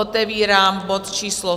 Otevírám bod číslo